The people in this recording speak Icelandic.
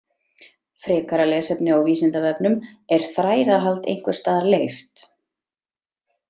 Frekara lesefni á Vísindavefnum Er þrælahald einhvers staðar leyft?